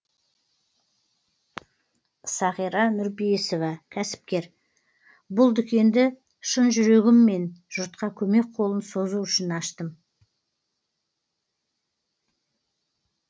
сағира нұрпейісова кәсіпкер бұл дүкенді шын жүрегіммен жұртқа көмек қолын созу үшін аштым